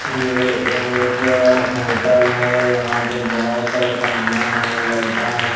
यह एक होटल है यहां पे बहुत सारे फैना है लाइटा है।